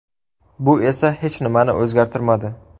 Bu esa hech nimani o‘zgartirmadi.